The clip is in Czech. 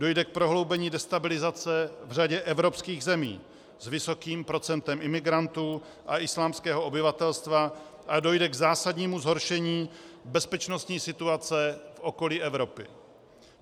Dojde k prohloubení destabilizace v řadě evropských zemí s vysokým procentem imigrantů a islámského obyvatelstva a dojde k zásadnímu zhoršení bezpečnostní situace v okolí Evropy.